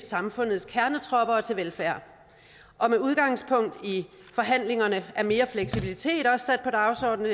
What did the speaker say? samfundets kernetropper og til velfærd og med udgangspunkt i forhandlingerne er mere fleksibilitet også sat på dagsordenen